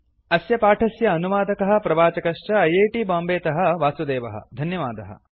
अस्य पाठस्य अनुवादकः प्रवाचकः च ऐ ऐ टी बाम्बे तः वासुदेवःधन्यवादः